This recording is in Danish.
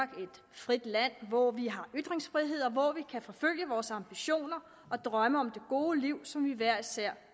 frit land hvor vi har ytringsfrihed og hvor vi kan forfølge vores ambitioner og drømme om det gode liv som vi hver især